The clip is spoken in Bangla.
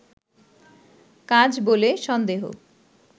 কাজ বলে সন্দেহ